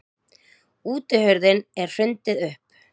Útihurðinni er hrundið upp.